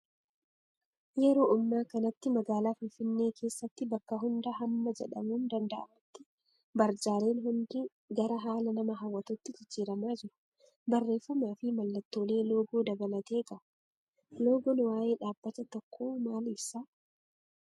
Yeroo ammaa kanatti magaalaa Finfinnee keessatti bakka hundaa hamma jedhamuun danda'amutti barjaaleen hundi gara haala nama hawwatuutti jijjiiramaa jiru. Barreeffamaa fi mallattoolee loogoo dabalatee qabu. Loogoon waayee dhaabbata tokkoo maal ibsaa?